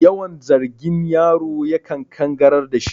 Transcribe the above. Yawan zagin yaro ya kan kangarar dashi